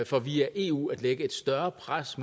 for via eu at lægge et større pres